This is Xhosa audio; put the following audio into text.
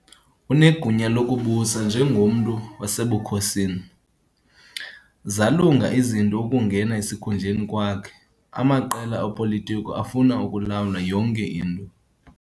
Unegunya lokubusa njengomntu wasebukhosini. zalunga izinto ukungena esikhundleni kwakhe, amaqela opolitiko afuna ukulawula yonke into